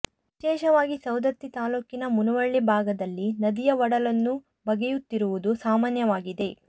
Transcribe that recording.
ವಿಶೇಷವಾಗಿ ಸವದತ್ತಿ ತಾಲ್ಲೂಕಿನ ಮುನವಳ್ಳಿ ಭಾಗದಲ್ಲಿ ನದಿಯ ಒಡಲನ್ನು ಬಗೆಯುತ್ತಿರುವುದು ಸಾಮಾನ್ಯವಾಗಿದೆ